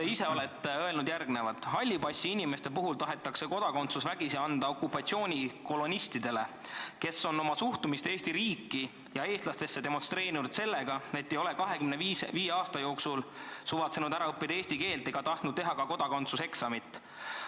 Te ise olete öelnud järgmist: "Hallipassi inimeste puhul tahetakse kodakondsus vägisi anda okupatsioonikolonistidele, kes on oma suhtumist Eesti riiki ja eestlastesse demonstreerinud sellega, et ei ole 25 aasta jooksul suvatsenud ära õppida eesti keelt ega tahtnud teha kodakondsuseksamit.